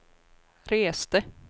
reste